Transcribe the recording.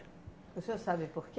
O senhor sabe porquê?